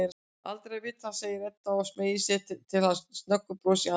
Aldrei að vita, segir Edda og smeygir til hans snöggu brosi í annríkinu.